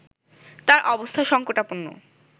তার অবস্থা সংকটাপন্ন